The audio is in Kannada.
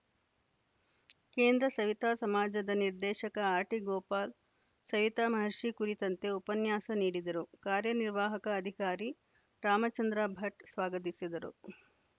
ಕೇಂದ್ರ ಸವಿತಾ ಸಮಾಜದ ನಿರ್ದೇಶಕ ಆರ್‌ಟಿಗೋಪಾಲ ಸವಿತಾ ಮಹರ್ಷಿ ಕುರಿತಂತೆ ಉಪನ್ಯಾಸ ನೀಡಿದರು ಕಾರ್ಯನಿರ್ವಾಹಕ ಅಧಿಕಾರಿ ರಾಮಚಂದ್ರ ಭಟ್‌ ಸ್ವಾಗತಿಸಿದರು